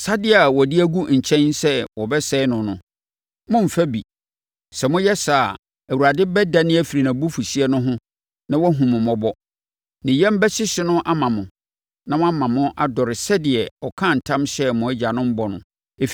Asadeɛ a wɔde agu nkyɛn sɛ wɔbɛsɛe no no, mommfa bi. Sɛ moyɛ saa a, Awurade bɛdane afiri nʼabufuhyeɛ no ho na wahunu mo mmɔbɔ. Ne yam bɛhyehye no ama mo na wama mo adɔre sɛdeɛ ɔkaa ntam hyɛɛ mo agyanom bɔ no,